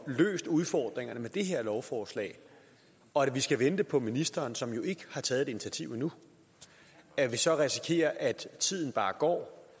løst udfordringerne med det her lovforslag og vi skal vente på ministeren som jo ikke har taget et initiativ endnu og at vi så risikerer at tiden bare går